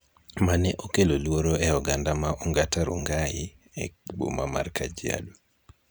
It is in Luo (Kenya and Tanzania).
mane okelo luoro e oganda ma Ongata Rongai, e boma mar Kajiado.